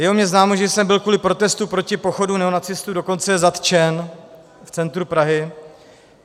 Je o mně známo, že jsem byl kvůli protestu proti pochodu neonacistů dokonce zatčen v centru Prahy.